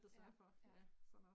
Ja, ja